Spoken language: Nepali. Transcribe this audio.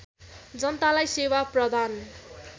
जनतालाई सेवा प्रदान